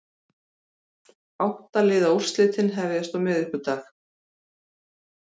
Átta liða úrslitin hefjast á miðvikudag